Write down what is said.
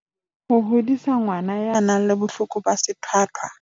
Ho hodisa ngwana ya nang le bohloko ba sethwathwa